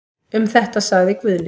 Um þetta sagði Guðni.